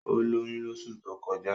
Ó lóyún lóṣù tó kọjá